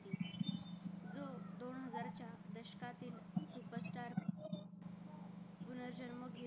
पुनर्जन्म